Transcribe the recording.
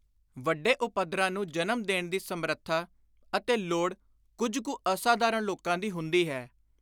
ਵੱਡੇ ਉਪੱਦਰਾਂ ਨੂੰ ਜਨਮ ਦੇਣ ਦੀ ਸਮਰੱਥਾ ਅਤੇ ਲੋੜ ਕੁਝ ਕੁ ਅਸਾਧਾਰਣ ਲੋਕਾਂ ਦੀ ਹੁੰਦੀ ਹੈ।